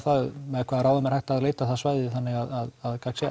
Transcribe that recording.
með hvaða ráðum er hægt að leita það svæði þannig að gagn sé